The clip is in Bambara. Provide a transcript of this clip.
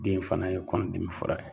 Den in fana ye kɔnɔdimi fura ye.